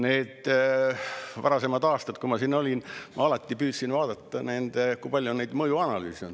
Need varasemad aastad, kui ma siin olin, ma alati püüdsin vaadata, kui palju on tehtud mõjuanalüüse.